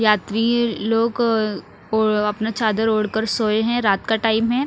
यात्री लोग अपना चादर ओर कर सोये है रात का टाइम है।